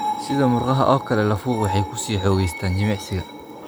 Sida murqaha oo kale, lafuhu waxay ku sii xoogaystaan ​​jimicsiga.